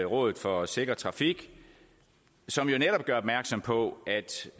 rådet for sikker trafik som jo netop gør opmærksom på